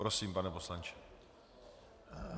Prosím, pane poslanče.